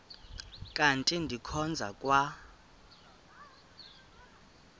kanti ndikhonza kwa